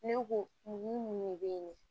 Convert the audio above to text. Ne ko mun de bɛ yen